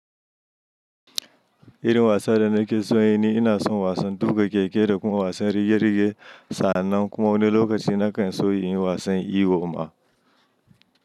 Irin wasan da na ke so yin ni ina son wasan tuƙa keke da kuma wasan rige-rige. Sannan kuma wani lokaci na kan so yin wasan iwo ma.